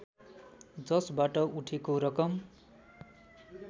जसबाट उठेको रकम